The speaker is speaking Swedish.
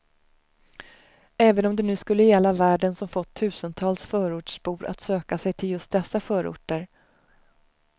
Även om det nu skulle gälla värden som fått tusentals förortsbor att söka sig till just dessa förorter.